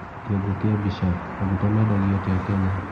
kĩongo kĩa mbica, maguta mendagio atia Kenya.